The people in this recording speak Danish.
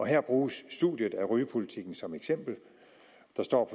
her bruges studiet af rygepolitikken som et eksempel der står